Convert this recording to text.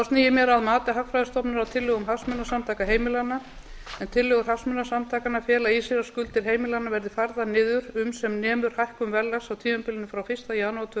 sný ég mér að mati hagfræðistofnunar á tillögum hagsmunasamtaka heimilanna en tillögur hagsmunasamtakanna fela í sér að skuldir heimilanna verði færðar niður um sem nemur hækkun verðlags á tímabilinu frá fyrsta janúar tvö